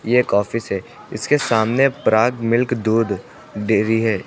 ये एक ऑफिस है इसके सामने पराग मिल्क दूध डेरी है।